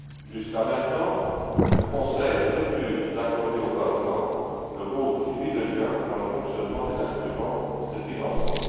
Jusqu'à présent, le Conseil refuse d'accorder au Parlement le rôle qui lui revient dans le fonctionnement des instruments de financement.